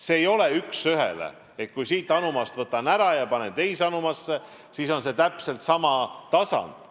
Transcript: See ei toimu üks ühele, et kui siit anumast võtan ära ja panen teise anumasse, siis on see täpselt sama tasand.